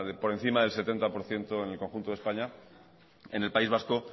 por encima del setenta por ciento en el conjunto de españa en el país vasco